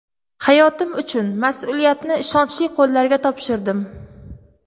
Hayotim uchun mas’uliyatni ishonchli qo‘llarga topshirdim”.